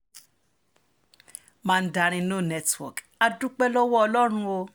mandarin no network á dúpẹ́ lọ́wọ́ ọlọ́run o